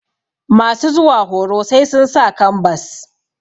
masu zuwa horo sai sun sa kambas